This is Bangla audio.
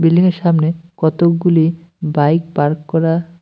বিল্ডিং -এর সামনে কতকগুলি বাইক পার্ক করা।